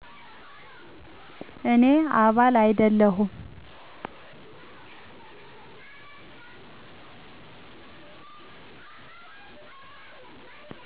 እኔ አባል አይደለሁም